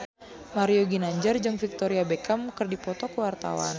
Mario Ginanjar jeung Victoria Beckham keur dipoto ku wartawan